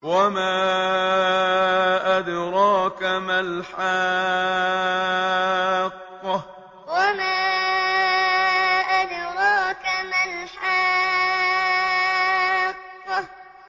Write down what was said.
وَمَا أَدْرَاكَ مَا الْحَاقَّةُ وَمَا أَدْرَاكَ مَا الْحَاقَّةُ